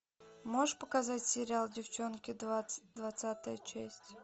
можешь показать сериал девчонки двадцатая часть